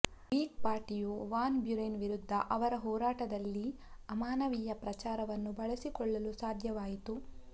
Whig ಪಾರ್ಟಿಯು Van Buren ವಿರುದ್ಧ ಅವರ ಹೋರಾಟದಲ್ಲಿ ಅಮಾನವೀಯ ಪ್ರಚಾರವನ್ನು ಬಳಸಿಕೊಳ್ಳಲು ಸಾಧ್ಯವಾಯಿತು